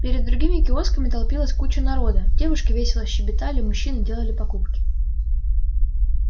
перед другими киосками толпилась куча народа девушки весело щебетали мужчины делали покупки